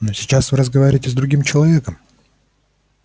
но сейчас вы разговариваете с другим человеком